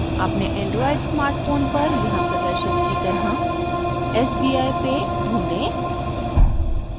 अपने Android smartphone पर यहाँ प्रदर्शित की तरह sbi pay ढूँढें